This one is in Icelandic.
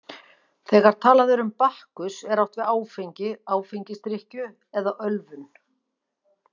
Þegar talað er um Bakkus er átt við áfengi, áfengisdrykkju eða ölvun.